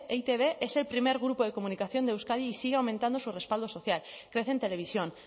e i te be es el primer grupo de comunicación de euskadi y sigue aumentando su respaldo social crece en televisión